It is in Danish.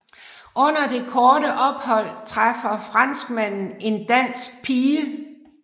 Under det korte ophold træffer franskmanden en dansk pige